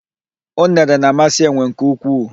Unere na-amasị enwe nke ukwuu.